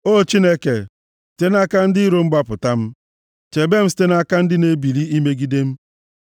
O Chineke, site nʼaka ndị iro m gbapụta m, chebe m site nʼaka ndị na-ebili imegide m.